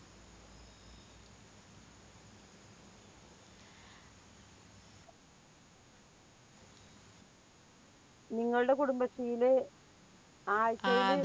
നിങ്ങളുടെ കുടുംബശ്രീയില് ആഴ്ചയില്